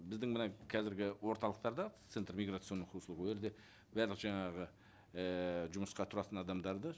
біздің мына қазіргі орталықтарда центр миграционных услуг ол жерде барлық жаңағы ііі жұмысқа тұратын адамдарды